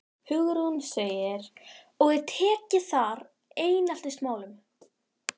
Hugrún: Og er tekið þar á eineltismálum?